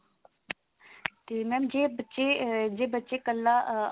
ਤੇ mam ਜੇ ਬੱਚੇ ਜੇ ਬੱਚੇ ਕੱਲਾ ah